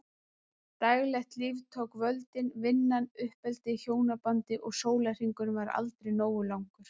Daglegt líf tók völdin- vinnan, uppeldið, hjónabandið- og sólarhringurinn var aldrei nógu langur.